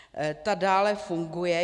Ta dále funguje.